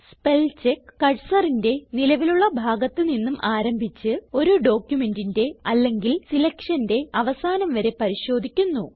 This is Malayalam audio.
സ്പെൽചെക്ക് cursorന്റെ നിലവിലുള്ള ഭാഗത്ത് നിന്നും ആരംഭിച്ച് ഒരു ഡോക്യുമെന്റിന്റെ അല്ലെങ്കിൽ സിലക്ഷന്റെ അവസാനം വരെ പരിശോധിക്കുന്നു